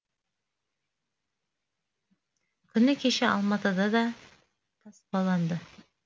күні кеше алматыда да таспаланды